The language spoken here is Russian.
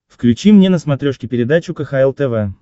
включи мне на смотрешке передачу кхл тв